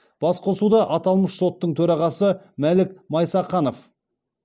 басқосуда аталмыш соттың төрағасы мәлік майсақанов